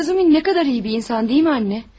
Bu Razumin ne kadar iyi bir insan değil mi anne?